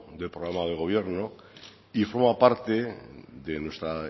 de programa de gobierno y forma parte de nuestra